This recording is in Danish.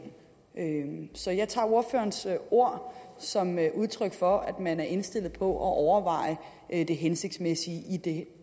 så jeg tager ordførerens ord som udtryk for at man er indstillet på at overveje det hensigtsmæssige i det